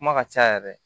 Kuma ka ca yɛrɛ